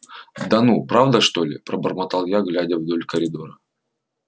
да ну правда что ли пробормотал я глядя вдоль коридора